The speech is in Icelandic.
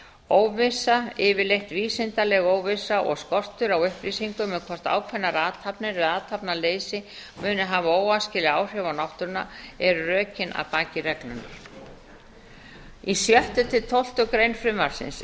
óvissa yfirleitt vísindaleg óvissa og skortur á upplýsingum um hvort ákveðnar athafnir eða athafnaleysi muni hafa óæskileg áhrif á náttúrunnar eru rökin að baki reglunni í sjöttu til tólftu greinar frumvarpsins